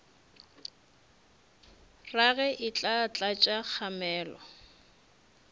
rage e tla tlatša kgamelo